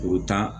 U bɛ taa